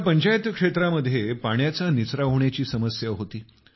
या पंचायत क्षेत्रामध्ये पाण्याचा निचरा होण्याची समस्या होती